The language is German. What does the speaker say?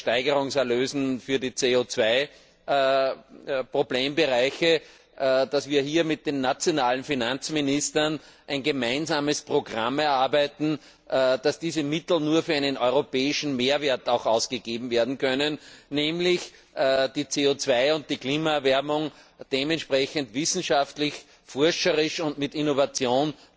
bei den Versteigerungserlösen für die CO Problembereiche, nicht mit den nationalen Finanzministern ein gemeinsames Programm erarbeiten, sodass diese Mittel nur für einen europäischen Mehrwert ausgegeben werden können, nämlich um die CO und die Klimaerwärmung entsprechend wissenschaftlich, mit Forschung und mit Innovation